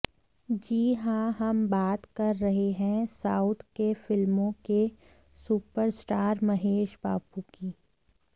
जी हां हम बात कर रहे हैं साउथ के फिल्मों के सुपरस्टार महेश बाबू की